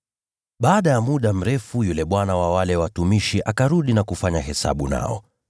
“Baada ya muda mrefu, yule bwana wa wale watumishi akarudi na kufanya hesabu nao.